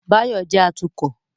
Báyọ̀ jẹ́ atukọ̀